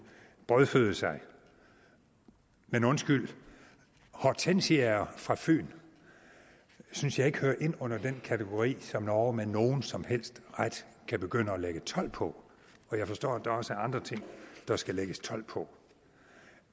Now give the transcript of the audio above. brødføde sig men undskyld hortensiaer fra fyn synes jeg ikke hører ind under den kategori som norge med nogen som helst ret kan begynde at lægge told på og jeg forstår at der også er andre ting der skal lægges told på